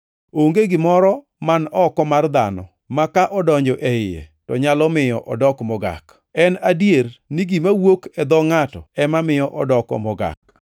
Onge gimoro man oko mar dhano ma kodonjo e iye to nyalo miyo odok mogak. En adier ni gima wuok e dho ngʼato ema miyo odoko mogak. [